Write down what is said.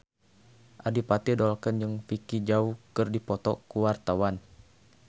Adipati Dolken jeung Vicki Zao keur dipoto ku wartawan